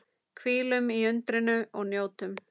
Hvílum í undrinu og njótum.